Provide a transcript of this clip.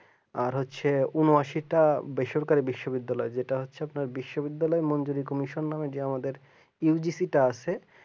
আর হচ্ছে ঊনআশি টা বেসরকারি বিশ্ববিদ্যালয় আর যেটা হচ্ছে বিশ্ববিদ্যালয় মনজুরি কমিশন নামে এই যে সেটা আছে